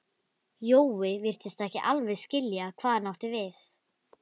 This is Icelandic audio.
Jói virtist ekki alveg skilja hvað hann átti við.